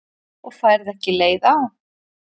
Og færð ekki leið á?